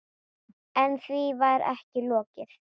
En því var ekki lokið.